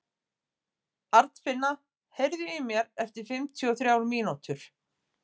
Arnfinna, heyrðu í mér eftir fimmtíu og þrjár mínútur.